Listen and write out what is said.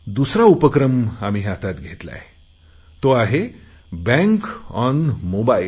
दुसरा उपक्रम आम्ही हातात घेतला आहे तो बँक ऑन मोबाईल